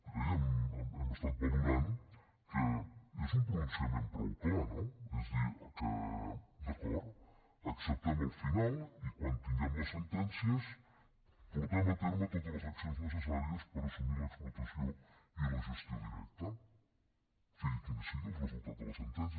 creiem hem estat valorant que és un pronunciament prou clar no és a dir que d’acord acceptem el final i quan tinguem les sentències portem a terme totes les accions necessàries per assumir l’explotació i la gestió directes sigui quin sigui el resultat de les sentències